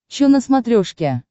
че на смотрешке